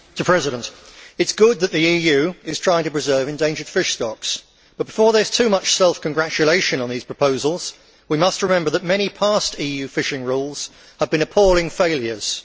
Mr President, it is good that the EU is trying to preserve endangered fish stocks, but before there is too much self congratulation on these proposals, we must remember that many past EU fishing rules have been appalling failures.